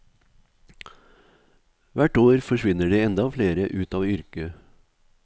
Hvert år forsvinner det enda flere ut av yrket.